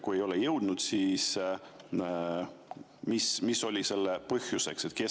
Kui te ei jõudnud, siis mis oli selle põhjuseks?